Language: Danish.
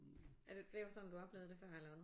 Altså det var sådan du oplevede det før eller hvad?